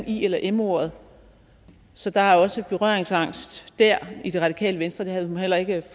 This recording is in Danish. i eller m ordet så der er også berøringsangst dér i det radikale venstre jeg havde nu heller ikke